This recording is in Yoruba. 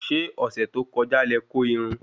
Ṣé ọ̀sẹ̀ tó kọja lẹ kó irun?